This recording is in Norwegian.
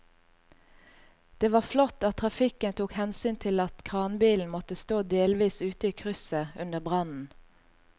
Det var flott at trafikken tok hensyn til at kranbilen måtte stå delvis ute i krysset under brannen.